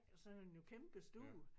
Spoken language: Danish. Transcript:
Og så den jo kæmpestor